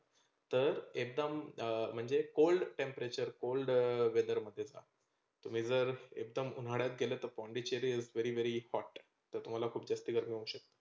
तर एकदम म्हणजे cold temperature cold weather तुम्ही जर एकदम उन्हाळ्यात गेले तर पोंडीचेरी very very hot तर तुम्हाला खूप जास्ती गर्मी होऊ शकते